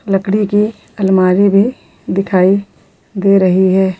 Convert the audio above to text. लकडी की अलमारी भी दिखाई दे रही हैं --